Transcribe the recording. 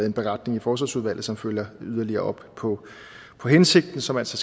en beretning i forsvarsudvalget som følger yderligere op på på hensigten som altså